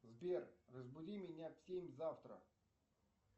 сбер разбуди меня в семь завтра